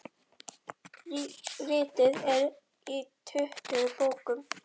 Ritið er í tuttugu bókum.